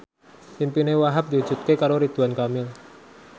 impine Wahhab diwujudke karo Ridwan Kamil